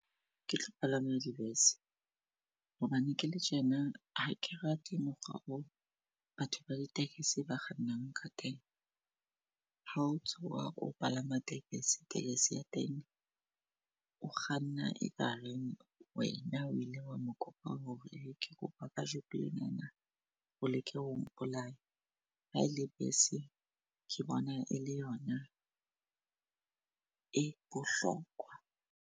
Ke tlo palama dibese hobane kele tjena hake rate mokgwa o batho ba di-taxi ba kgannang ka teng. Ha o tsoha o palama tekesi, tekesi ya teng o kganna e kareng wena o ile wa mo kopa hore ke kopa kajeko lenana o leke ho mpolaya. Ha ele bese ke bona e le yona e bohlokwa.